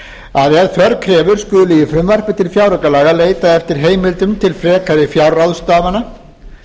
að ef þörf krefur skuli í frumvarpi til fjáraukalaga leitað eftir heimildum til frekari fjárráðstafana